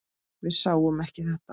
Við sáum ekki þetta!